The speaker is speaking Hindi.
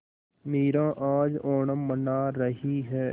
मीरा आज ओणम मना रही है